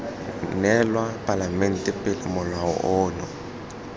neelwa palamente pele molao ono